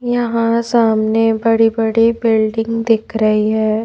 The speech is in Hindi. यहां सामने बड़ी बड़ी बिल्डिंग दिख रही है।